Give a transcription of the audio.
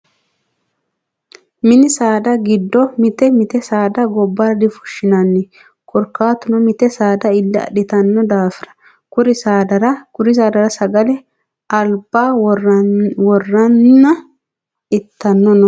Mini saada giddo mite mite saada gobbara difushshinanni. Korkaatuno mite saada ille adhitanno daafira. Kuri saadara sagale albaa worreenna itani no.